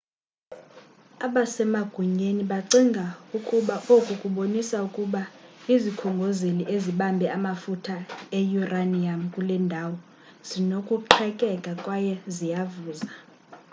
abasemagunyeni bacinga ukuba oku kubonisa ukuba izikhongozeli ezibambe amafutha e-uranium kule ndawo zinokuqhekeka kwaye ziyavuza